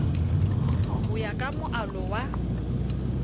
ho ya ka moalo wa